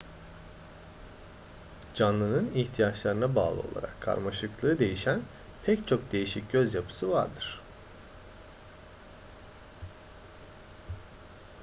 canlının ihtiyaçlarına bağlı olarak karmaşıklığı değişen pek çok değişik göz yapısı vardır